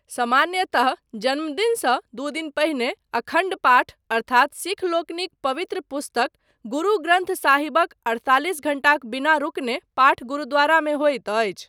सामान्यतः जन्मदिनसँ दू दिन पहिने अखण्ड पाठ अर्थात सिखलोकनिक पवित्र पुस्तक गुरु ग्रन्थ साहिबक अड़तालीस घणटाक बिना रुकने पाठ गुरूद्वारामे होइत अछि।